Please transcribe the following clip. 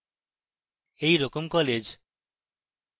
এই রকম colleges